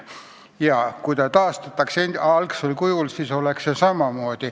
Ja kui ta taastataks algsel kujul, siis see probleem jääks.